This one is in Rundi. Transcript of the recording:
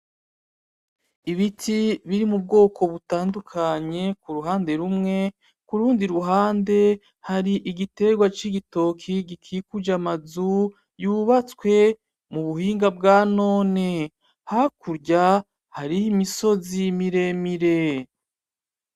Ibiti biri mu bwoko butandukanye ku ruhande rumwe, kurundi ruhande igitegwa c'igitoki gukikuje amazu yubatswe mubuhinga bwa none, hakurya hariho imisozi miremire.